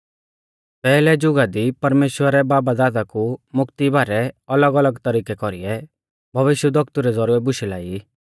पैहलै जुगा दी परमेश्‍वरै बाबदादा कु मोकती बारै और अलगअलग तरिकै कौरीऐ भविष्यवक्तु रै ज़ौरिऐ बुशै लाई